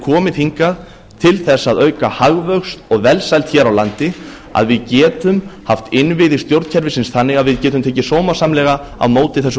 komið hingað til þess að auka hagvöxt og velsæld hér á landi að við getum haft innviði stjórnkerfisins þannig að við getum tekið sómasamlega á móti þessu